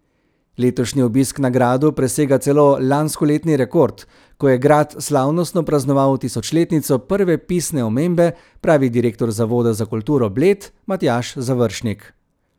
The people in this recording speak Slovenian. Letošnji obisk na gradu presega celo lanskoletni rekord, ko je grad slavnostno praznoval tisočletnico prve pisne omembe, pravi direktor Zavoda za kulturo Bled Matjaž Završnik.